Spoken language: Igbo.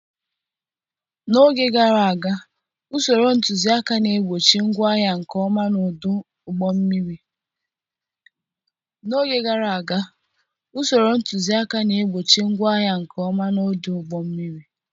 N'oge gara aga, usoro ntuziaka na-egbochi ngwa ahịa nke ọma na ọdụ ụgbọ mmiri.